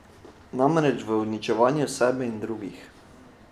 Namreč v uničevanju sebe in drugih.